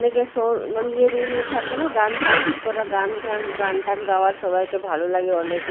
অনেকে সৌর মানে ইয়ে রুম -রে থাকে না গান প্র্যাক্টিস করা গান ঘান গান টান গাওয়ার সবাইকে ভালো লাগে অনেকে।